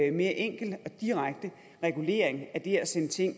en mere enkel og direkte regulering af det at sende ting